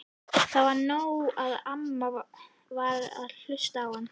Það var nóg að amma varð að hlusta á hann.